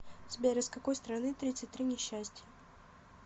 сбер из какой страны тридцать три несчастья